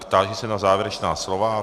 Táži se na závěrečná slova.